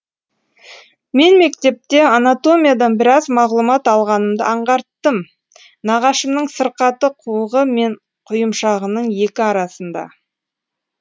мен мектепте анатомиядан біраз мағлұмат алғанымды аңғарттым нағашымның сырқаты қуығы мен құйымшағының екі арасында